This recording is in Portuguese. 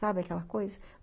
Sabe aquela coisa?